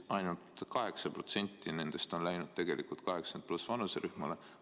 Ainult 8% nendest on läinud tegelikult 80+ vanuserühmale.